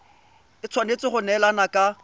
e tshwanetse go neelana ka